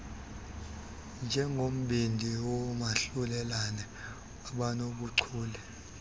njengombindi woomahlulelane abanobuchule